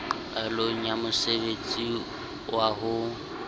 qalong ya mosebtsi wa ho